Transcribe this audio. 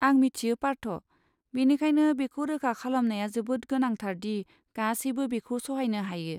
आं मिथियो पार्थ, बेनिखायनो बेखौ रोखा खालामनाया जोबोद गोनांथार दि गासैबो बेखौ सहायनो हायो।